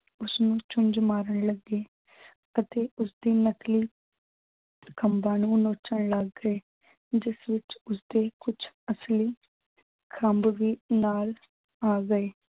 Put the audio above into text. ਉਸਨੂੰ ਚੁੰਝ ਮਾਰਨ ਲੱਗੇ ਅਤੇ ਉਸਦੀ ਨਕਲੀ ਖੰਬਾ ਨੂੰ ਨੋਚਣ ਲੱਗ ਗਏ। ਜਿਸ ਵਿੱਚ ਉਸਦੇ ਕੁੱਛ ਅਸਲੀ ਖੰਬ ਵੀ ਨਾਲ ਆ ਗਏ।